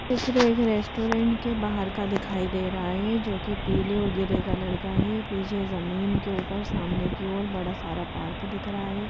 इस तरह एक रेस्टोरेंट के बाहर का दिखाई दे रहा है जो कि पीले और ग्रे कलर का है पीछे जमीन के ऊपर सामने की ओर बड़ा सारा पार्क दिख रहा है।